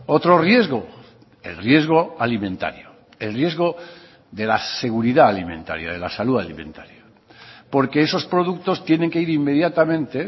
otro riesgo el riesgo alimentario el riesgo de la seguridad alimentaria de la salud alimentaria porque esos productos tienen que ir inmediatamente